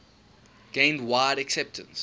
gained wide acceptance